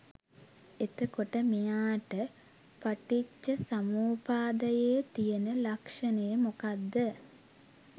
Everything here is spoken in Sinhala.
එතකොට මෙයාට පටිච්චසමුප්පාදයේ තියෙන ලක්ෂණය මොකක්ද